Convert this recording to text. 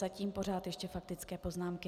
Zatím pořád ještě faktické poznámky.